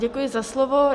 Děkuji za slovo.